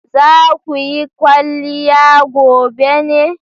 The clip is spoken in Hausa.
Za ku yi kwaliya gobe ne?